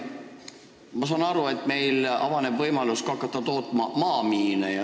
Ma saan aru, et meil avaneb võimalus ka maamiine tootma hakata.